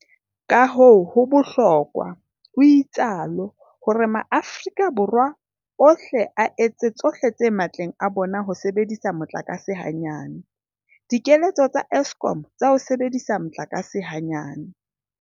Kahoo ho bohlokwa, o itsalo, hore maAforika Borwa ohle a etse tsohle tse matleng a bona ho sebedisa motlakase hanyane. Dikeletso tsa Eskom tsa ho sebedisa motlakase hanyane.